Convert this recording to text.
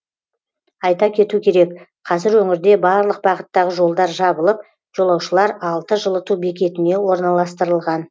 айта кету керек қазір өңірде барлық бағыттағы жолдар жабылып жолаушылар алты жылыту бекетіне орналастырылған